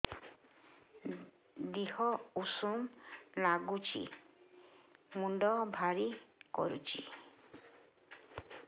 ଦିହ ଉଷୁମ ନାଗୁଚି ମୁଣ୍ଡ ଭାରି କରୁଚି